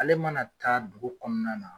Ale mana taa dugu kɔnɔna na